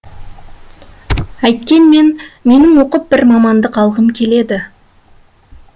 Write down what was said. әйткенмен менің оқып бір мамандық алғым келеді